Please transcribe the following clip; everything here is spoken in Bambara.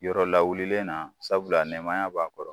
Yɔrɔ lawulilen na sabula nɛmaya b'a kɔrɔ